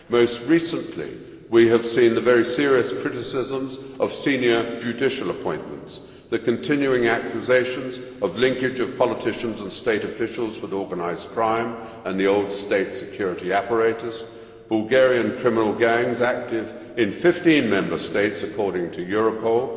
Most recently we have seen the very serious criticisms of senior judicial appointments, the continuing accusations of linkage of politicians and state officials with organised crime and the old state security apparatus, Bulgarian criminal gangs active in fifteen Member States according to Europol,